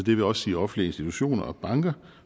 vil også sige offentlige institutioner og banker